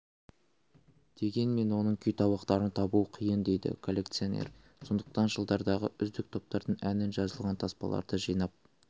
дегенмен оның күйтабақтарын табу қиын дейді коллекционер сондықтан жылдардағы үздік топтардың әні жазылған таспаларды жинап